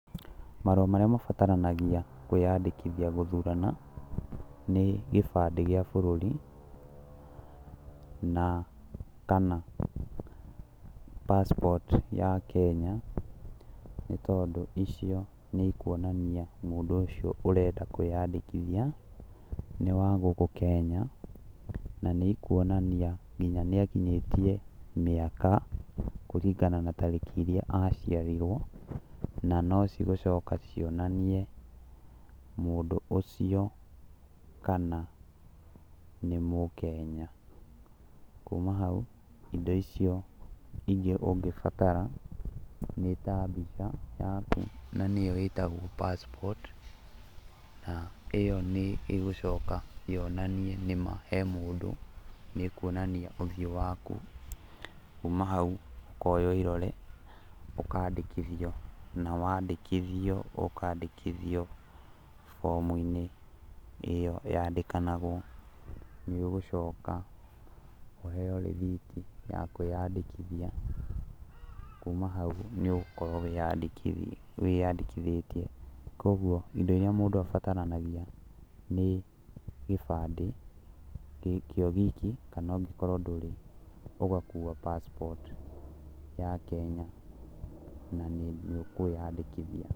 Marũa marĩa mabataranagia kwĩyandĩkithia gũthurana, nĩ kĩbandĩ gĩa bũrũri, na kana passport ya Kenya, nĩ tondũ icio nĩ ikuonania mũndũ ũcio ũrenda kwĩyandĩkithia nĩ wa gũkũ Kenya na nĩ ĩkuonania kinya nĩakinyĩtie mĩaka kũringana na tarĩki iria aciarirwo. Na no cigũcoka cionanie mũndũ ũcio kana nĩ Mũkenya. Kuma hau indo icio ingĩ ũngĩbatara nĩ ta mbica yaku na nĩyo ĩtagwo passport na ĩyo nĩ ĩgũcoka yonanie nĩma he mũndũ, nĩĩkuonania ũthiũ waku. Kuma hau ũkoywo irore ũkandĩkithio na wandĩkithio ũkandĩkithio bomu-inĩ ĩyo yandĩkanagwo. Nĩũgũcoka ũheo rĩhiti ya kwĩyandĩkithia, kuma hau nĩ ũgũkorwo wĩyandĩkithia wĩyandĩkithĩtie, koguo indo iria mũndũ abataranagia nĩ kibandĩ gĩ kĩo wiki kana ũngĩkorwo ndũrĩ ũgakua passport ya Kenya na nĩ ũkwĩyandĩkithia.